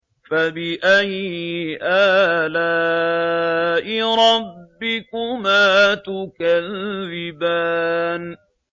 فَبِأَيِّ آلَاءِ رَبِّكُمَا تُكَذِّبَانِ